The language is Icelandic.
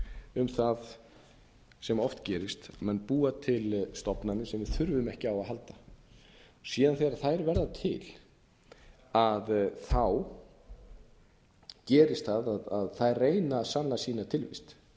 um það sem oft gerist menn búa til stofnanir sem við þurfum ekki á að halda síðan þegar þær verða til gerist það að þær reyna að sanna sína tilveru